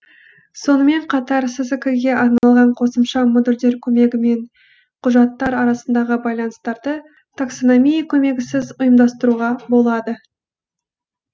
сонымен қатар сск ге арналған қосымша модульдер көмегімен құжаттар арасындағы байланыстарды таксономия көмегісіз ұйымдастыруға болады